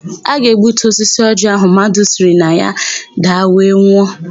A ga-egbutu osisi ọjịị áhụ̀ mmadụ siri na ya daa were nwụọ.